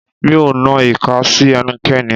Mi ò nan ìka sí ẹnikẹ́ni.